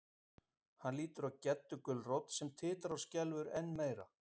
Hann lítur á Geddu gulrót sem titrar og skelfur enn meira.